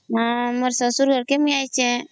ମୋର ଶଶୁର ଘରକେ ମୁଇଁ ଆଇଛେ